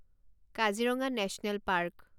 Kaziranga national park